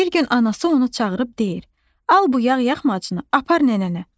Bir gün anası onu çağırıb deyir: Al bu yağ yəxmacını apar nənənə.